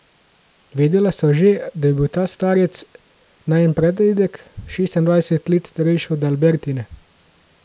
Vedela sva že, da je bil ta starec, najin pradedek, šestindvajset let starejši od Albertine.